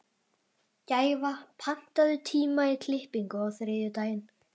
Gæfa, pantaðu tíma í klippingu á þriðjudaginn.